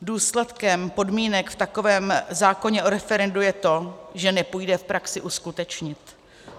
Důsledkem podmínek v takovém zákoně o referendu je to, že nepůjde v praxi uskutečnit.